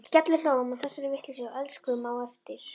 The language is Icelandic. Við skellihlógum að þessari vitleysu og elskuðumst á eftir.